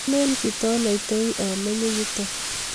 ale kitanaitoi amenye yutok